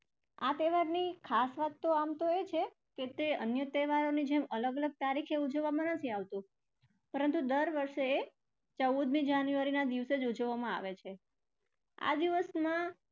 આ તહેવારની ખાસ વાત તો આમ તો એ છે કે એક તો એ અન્ય તહેવારોની જેમ અલગ અલગ તારીખે ઉજવવામાં નથી આવતી પરંતુ દર વર્ષે ચૌદમી january ના દિવસે જ ઉજવવામાં આવે છે. આ દિવસમાં